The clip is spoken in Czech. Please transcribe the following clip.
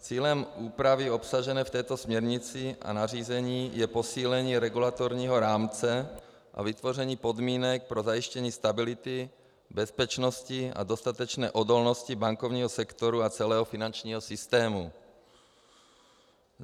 Cílem úpravy obsažené v této směrnici a nařízení je posílení regulatorního rámce a vytvoření podmínek pro zajištění stability, bezpečnosti a dostatečné odolnosti bankovního sektoru a celého finančního systému.